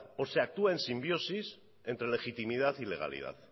o se actúa en simbiosis entre legitimidad y legalidad